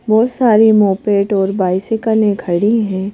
बहुत सारी मोपेट और बाइसाइकल खड़ी हैं।